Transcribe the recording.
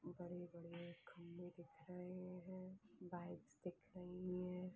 बड़े बड़े खंभे दिख रहे है बाइक्स दिख रही हैं।